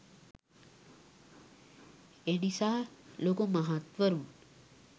එනිසා ලොකු මහත්වරුන්